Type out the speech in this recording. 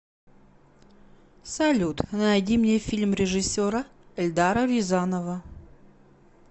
салют найди мне фильм режисера эльдара рязанова